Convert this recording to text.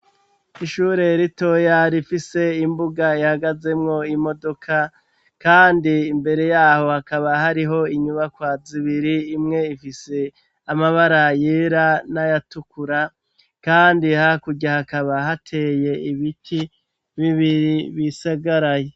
Ishureritoyar ifise imbuga ihagazemwo imodoka, kandi imbere yaho hakaba hariho inyubakwa zibiri imwe ifise amabara yera n'ayatukura, kandi ha kurya hakaba hateye ibiti bibiri bisagaraye.